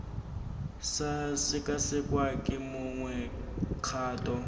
sa sekasekwa ke mongwe kgato